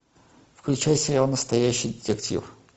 включай сериал настоящий детектив